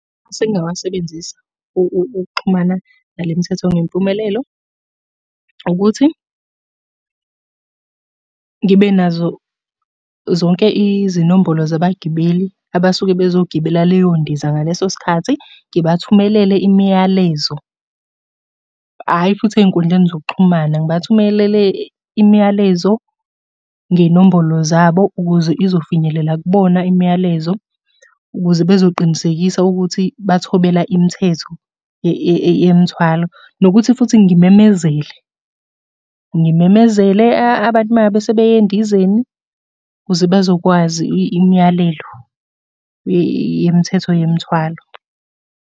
Amasu engingawasebenzisa ukuxhumana nale mthetho ngempumelelo, ukuthi ngibe nazo zonke izinombolo zabagibeli abasuke bezogibela leyo ndiza ngaleso sikhathi, ngibathumelele imiyalezo. Hhayi futhi ey'nkundleni zokuxhumana, ngibathumelele imiyalezo ngey'nombolo zabo ukuze izofinyelela kubona imiyalezo, ukuze bezoqinisekisa ukuthi bathobela imithetho yemithwalo. Nokuthi futhi ngimemezele, ngimemezele abantu uma ngabe sebeya endizeni, ukuze bezokwazi imiyalelo yemthetho yemthwalo.